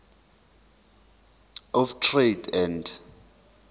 of trade and